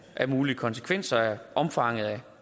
af mulige konsekvenser af omfanget af